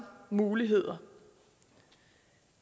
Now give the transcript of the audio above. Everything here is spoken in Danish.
muligheder